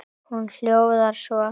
Hún hljóðar svo: